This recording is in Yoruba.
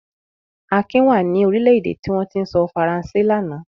Akin wà ní orílẹ̀-èdè tí wọ́n ti ń sọ Faransé lánàá.